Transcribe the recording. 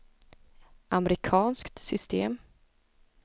amerikanskt system